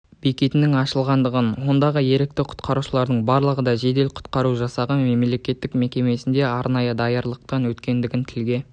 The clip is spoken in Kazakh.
бекетінің ашылғандығын ондағы ерікті құтқарушылардың барлығы да жедел-құтқару жасағы мемлекеттік мекемесінде арнайы даярлықтан өткендігін тілге